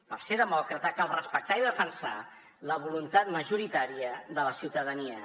per ser demòcrata cal respectar i defensar la voluntat majoritària de la ciutadania